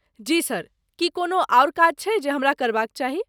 जी sir, की कोनो आओर काज छै जे हमरा करबाक चाही?